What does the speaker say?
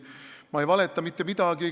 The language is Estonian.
Ma ei valeta mitte midagi.